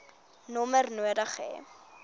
nommer nodig hê